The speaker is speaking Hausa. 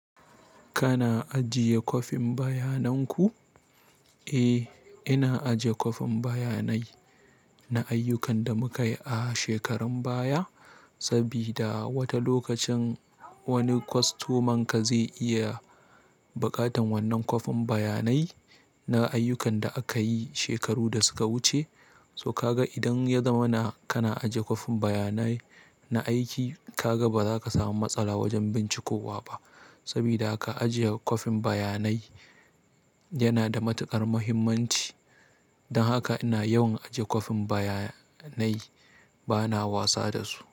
Kana ajiye kwafin bayanan ku? Eh, ina aje kwafin bayanai na ayyukan da muka yi a shekarun baya. Sabida wata lokacin wani kwastomanka zai iya buƙatan wannan kwafin bayanai na ayyukan da aka yi shekaru da suka wuce. Toh ka gan idan ya zamana kana ajiye kwafin bayanai na aiki, ka gan ba za ka samu matsala wajen bincikowa ba sabida haka ajiye kwafin bayanai yana da matuƙar muhimmanci don haka ina yawan ajiye kwafin bayanai bana wasa da su.